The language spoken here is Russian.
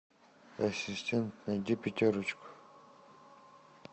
ассистент найди пятерочку